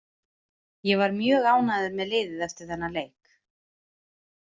Ég var mjög ánægður með liðið eftir þennan leik.